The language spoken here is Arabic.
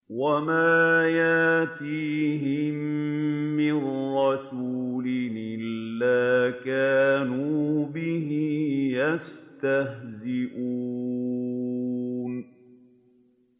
وَمَا يَأْتِيهِم مِّن رَّسُولٍ إِلَّا كَانُوا بِهِ يَسْتَهْزِئُونَ